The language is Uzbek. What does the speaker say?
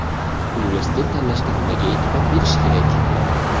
Universitet tanlashda nimaga e’tibor berish kerak?.